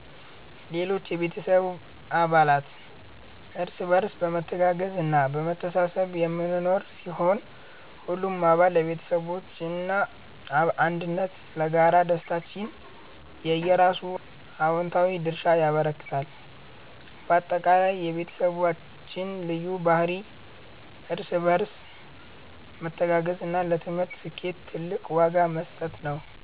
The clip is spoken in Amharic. ሌሎች የቤተሰብ አባላት፦ እርስ በርስ በመተጋገዝና በመተሳሰብ የምንኖር ሲሆን፣ ሁሉም አባል ለቤተሰባችን አንድነትና ለጋራ ደስታችን የየራሱን አዎንታዊ ድርሻ ያበረክታል። ባጠቃላይ፣ የቤተሰባችን ልዩ ባህሪ እርስ በርስ መተጋገዝና ለትምህርት ስኬት ትልቅ ዋጋ መስጠት ነው።